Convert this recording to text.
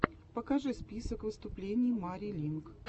покажи список выступлений мари линк